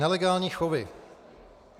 Nelegální chovy.